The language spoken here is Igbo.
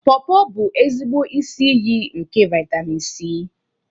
Pawpaw bụ ezigbo isi iyi nke vitamin C.